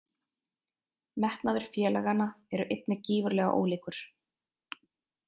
Metnaður félaganna eru einnig gífurlega ólíkur.